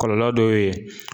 Kɔlɔlɔ dɔ ye